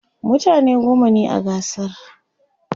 mutane goma ne a gasar